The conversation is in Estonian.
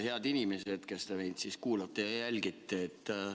Head inimesed, kes te meid kuulate ja jälgite!